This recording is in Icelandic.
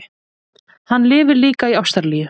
Hann lifir líka í Ástralíu.